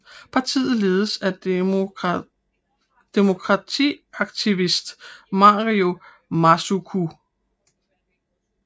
Partiet ledes af demokratiaktivist Mario Masuku